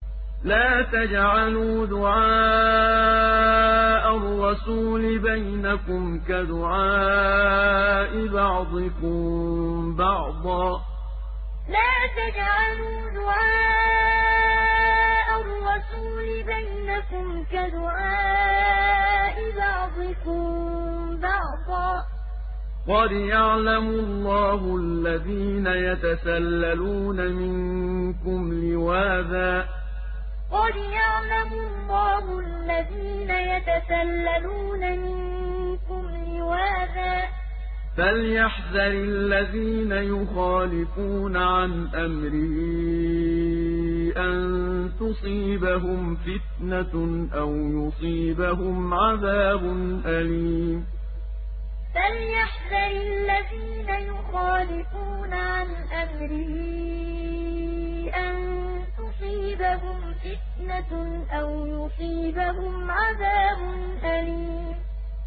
لَّا تَجْعَلُوا دُعَاءَ الرَّسُولِ بَيْنَكُمْ كَدُعَاءِ بَعْضِكُم بَعْضًا ۚ قَدْ يَعْلَمُ اللَّهُ الَّذِينَ يَتَسَلَّلُونَ مِنكُمْ لِوَاذًا ۚ فَلْيَحْذَرِ الَّذِينَ يُخَالِفُونَ عَنْ أَمْرِهِ أَن تُصِيبَهُمْ فِتْنَةٌ أَوْ يُصِيبَهُمْ عَذَابٌ أَلِيمٌ لَّا تَجْعَلُوا دُعَاءَ الرَّسُولِ بَيْنَكُمْ كَدُعَاءِ بَعْضِكُم بَعْضًا ۚ قَدْ يَعْلَمُ اللَّهُ الَّذِينَ يَتَسَلَّلُونَ مِنكُمْ لِوَاذًا ۚ فَلْيَحْذَرِ الَّذِينَ يُخَالِفُونَ عَنْ أَمْرِهِ أَن تُصِيبَهُمْ فِتْنَةٌ أَوْ يُصِيبَهُمْ عَذَابٌ أَلِيمٌ